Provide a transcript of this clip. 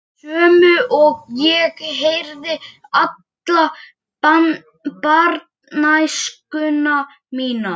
Til dæmis: Í kringlukasti voru allmargir þátttakendur.